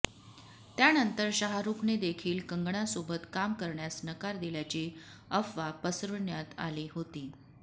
त्यानंतर शाहरूखनेदेखील कंगनासोबत काम करण्यास नकार दिल्याची अफवा पसरविण्यात आली होती